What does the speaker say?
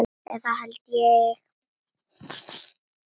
Eða það held ég.